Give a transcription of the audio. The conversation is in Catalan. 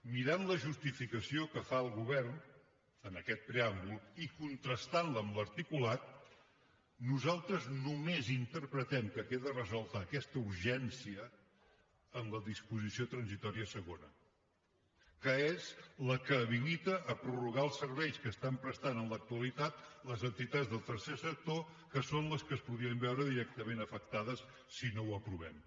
mirant la justificació que fa el govern en aquest preàmbul i contrastantla amb l’articulat nosaltres només interpretem que queda resolta aquesta urgència en la disposició transitòria segona que és la que habilita a prorrogar els serveis que estan prestant en l’actualitat les entitats del tercer sector que són les que es podrien veure directament afectades si no ho aprovem